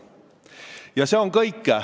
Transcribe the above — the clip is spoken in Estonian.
Ja see on kõik.